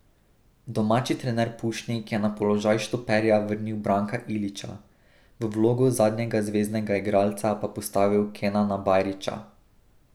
Domači trener Pušnik je na položaj štoperja vrnil Branka Ilića, v vlogo zadnjega zveznega igralca pa postavil Kenana Bajrića.